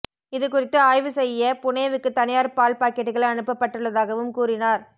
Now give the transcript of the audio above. இதுகுறித்து ஆய்வு செய்ய புனேவுக்கு தனியார் பால் பாக்கெட்டுகள் அனுப்பப்பட்டுள்ளதாகவும் கூறினார்